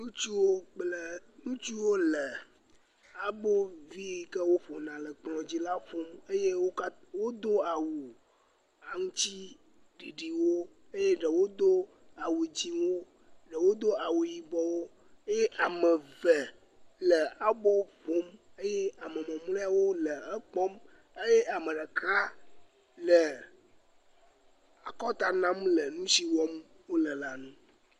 Ŋutsuwo le Ŋutsuwo le abo vi yike woƒona le kplɔ dzi la ƒfom wodo awu aŋtiɖiɖiwo eye ɖewo do awu dzĩwo ɖewo do awu yibɔwo eye ame eve le abo ƒfom eye ame mamlɛwo le ekpɔm eye ame ɖeka le akɔnta nam le nusi wɔm wole la nu